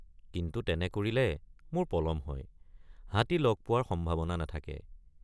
কিন্তু তেনে কৰিলে মোৰ পলম হয় হাতী লগ পোৱাৰ সম্ভাৱনা নাথাকে।